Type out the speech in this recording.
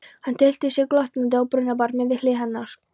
Hann tyllti sér glottandi á brunnbarminn við hlið hennar.